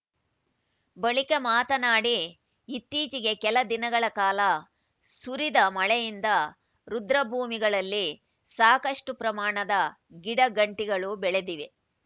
ಬಳಿಕ ಮಾತನಾಡಿ ಇತ್ತೀಚೆಗೆ ಕೆಲ ದಿನಗಳ ಕಾಲ ಸುರಿದ ಮಳೆಯಿಂದ ರುದ್ರಭೂಮಿಗಳಲ್ಲಿ ಸಾಕಷ್ಟುಪ್ರಮಾಣದ ಗಿಡಗಂಟಿಗಳು ಬೆಳೆದಿವೆ